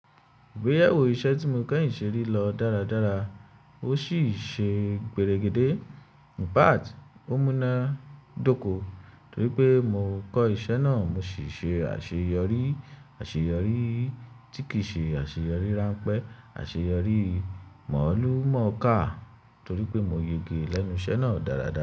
Ìgbéyewó iṣẹ́ tí mo kẹ́yìn ṣe rí lọ dáradára, ó sì ṣe gbère gédé. In fact, ó múná dóko torí pé mo kọ́ iṣẹ́ náà, mo sì ṣe àṣeyọrí. Àṣeyọrí tí kìí ṣe àṣeyọrí ránpẹ́, àṣeyọrí mọ̀ọ́lù mọ̀ọ́ká torí pé mo yege lẹ́nu iṣẹ́ náà dáradára.